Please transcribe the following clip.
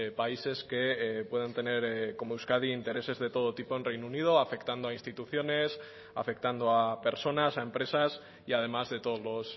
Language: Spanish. países que puedan tener como euskadi intereses de todo tipo en reino unido afectando a instituciones afectando a personas a empresas y además de todos los